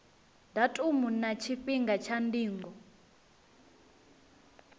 datumu na tshifhinga tsha ndingo